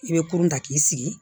I bɛ kurun da k'i sigi